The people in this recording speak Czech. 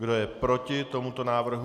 Kdo je proti tomuto návrhu?